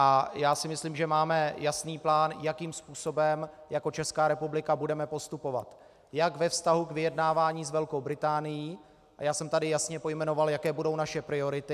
A já si myslím, že máme jasný plán, jakým způsobem jako Česká republika budeme postupovat jak ve vztahu k vyjednávání s Velkou Británií - a já jsem tady jasně pojmenoval, jaké budou naše priority.